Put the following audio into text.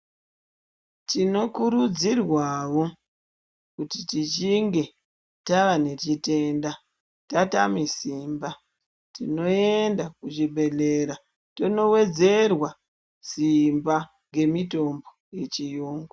Tinokurudzirwawo kuti tichinge taanechitenda tatame simba, tinoenda kuzvibhedhlera, tonowedzerwa simba ngemitombo yechiyungu.